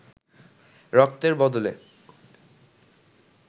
রক্তের বদলে